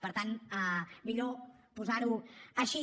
per tant millor posar ho així